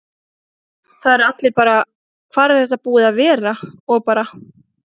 Það eru allir bara: Hvar er þetta búið að vera? og bara.